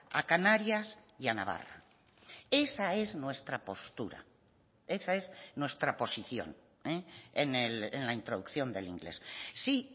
a canarias y a navarra esa es nuestra postura esa es nuestra posición en la introducción del inglés si